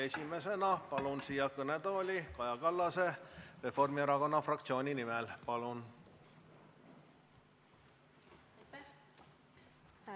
Esimesena palun siia kõnetooli Reformierakonna fraktsiooni nimel Kaja Kallase.